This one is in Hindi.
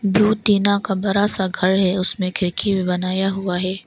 ब्लू टीना का बड़ा सा घर है उसमें खिड़की भी बनाया हुआ है।